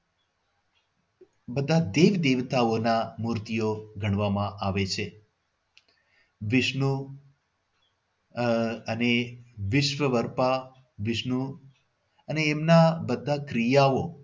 બધા દેવ દેવતાઓના મૂર્તિઓ ગણવામાં આવે છે. વિષ્ણુ આહ અને વિશ્વ્વાર્પા વિષ્ણુ અને એમના બધા ક્રિયાઓ